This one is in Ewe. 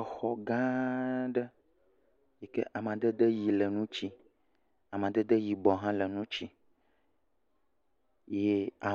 Exɔ gã ɖe yike amadede yi le eŋuti. Amadede ɣi le ŋuti, amedede yibɔ hã